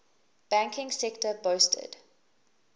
banking sector boasted